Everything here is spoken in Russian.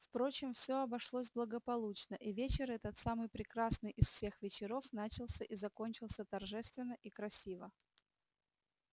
впрочем все обошлось благополучно и вечер этот самый прекрасный из всех вечеров начался и закончился торжественно и красиво